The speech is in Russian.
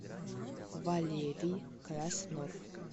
валерий краснов